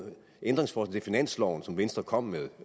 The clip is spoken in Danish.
ændringsforslag til finansloven som venstre kom med